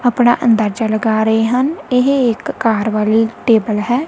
ਆਪਣਾ ਅੰਦਾਜਾ ਲਗਾ ਰਹੇ ਹਨ ਇਹ ਇੱਕ ਕਾਰ ਵਾਲੀ ਟੇਬਲ ਹੈ।